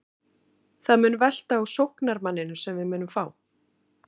Það mun velta á sóknarmanninum sem við munum fá.